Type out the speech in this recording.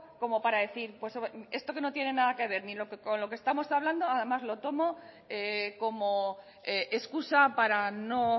como para decir esto que no tiene nada que ver con lo que estamos hablando además lo tomo como excusa para no